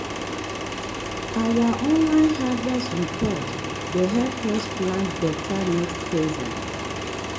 our online harvest report dey help us plan better next season.